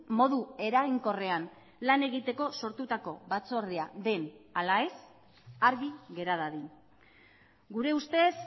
modu eraginkorrean lan egiteko sortutako batzordea den ala ez argi gera dadin gure ustez